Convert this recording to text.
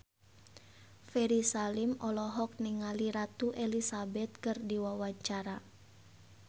Ferry Salim olohok ningali Ratu Elizabeth keur diwawancara